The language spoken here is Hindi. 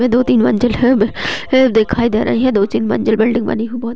ये दो तीन मंजिल है दिखाई दे रही है दो तीन मंजिल बिल्डिंग बनी हुई बोहोत --